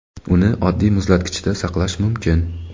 Uni oddiy muzlatkichda saqlash mumkin.